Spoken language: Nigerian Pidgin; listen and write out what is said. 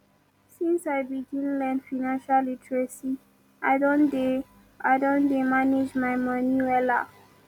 since i begin learn financial literacy i don dey i don dey manage my moni wella